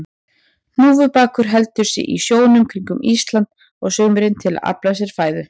Hnúfubakur heldur sig í sjónum kringum Ísland á sumrin til að afla sér fæðu.